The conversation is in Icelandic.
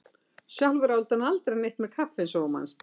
Sjálfur átti hann aldrei neitt með kaffi eins og þú manst.